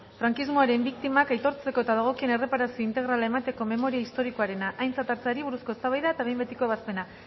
frankismoaren biktimak aitortzeko eta dagokien erreparazio integrala emateko memoria historikoarena aintzat hartzeari buruzko eztabaida eta behin betiko ebazpena